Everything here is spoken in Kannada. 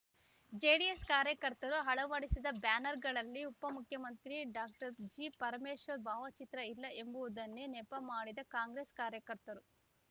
ಜೆಡಿಎಸ್ ಕಾರ್ಯಕರ್ತರು ಅಳವಡಿಸಿದ ಬ್ಯಾನರ್‌ಗಳಲ್ಲಿ ಉಪಮುಖ್ಯಮಂತ್ರಿ ಡಾಕ್ಟರ್ ಜಿ ಪರಮೇಶ್ವರ್ ಭಾವಚಿತ್ರ ಇಲ್ಲ ಎಂಬುದನ್ನೇ ನೆಪ ಮಾಡಿದ ಕಾಂಗ್ರೆಸ್ ಕಾರ್ಯಕರ್ತರು